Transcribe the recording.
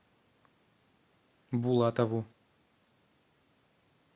булатову